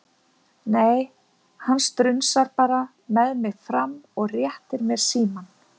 Nei, hann strunsar bara með mig fram og réttir mér símann.